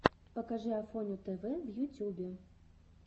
покажи афоню тв в ютюбе